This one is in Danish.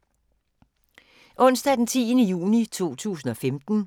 Onsdag d. 10. juni 2015